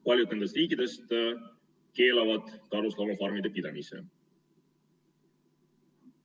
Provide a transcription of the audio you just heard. Paljud nendest riikidest keelavad karusloomafarmide pidamise.